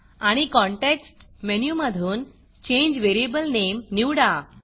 आणि कॉन्टेक्स्ट मेनूमधून change variable Nameचेंज वेरियबल नेम निवडा